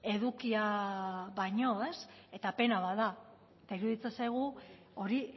edukia baino eta pena bat da eta iruditzen zaigu hori